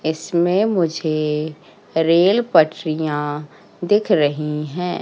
इसमें मुझे रेल पटरियां दिख रही हैं।